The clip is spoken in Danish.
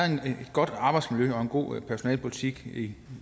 godt arbejdsmiljø og en god personalepolitik i